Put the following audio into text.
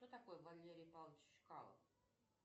кто такой валерий павлович чкалов